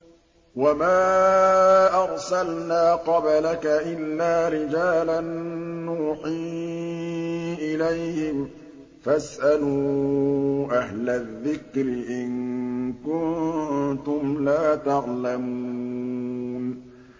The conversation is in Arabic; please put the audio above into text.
وَمَا أَرْسَلْنَا قَبْلَكَ إِلَّا رِجَالًا نُّوحِي إِلَيْهِمْ ۖ فَاسْأَلُوا أَهْلَ الذِّكْرِ إِن كُنتُمْ لَا تَعْلَمُونَ